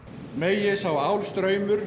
megi sá